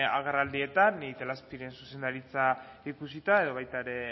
agerraldietan ni itelazpiren zuzendaritza ikusita edo baita ere